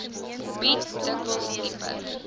bied dikwels dieper